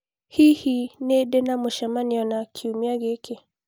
Hihi nĩ ndĩ na mũcemanio na Steve kiumia gĩkĩ